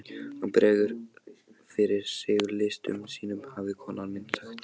Hann bregður fyrir sig listum sínum hafði kona mín sagt.